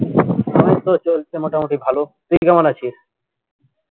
চলছে মোটামুটি ভালো তুই কেমন আছিস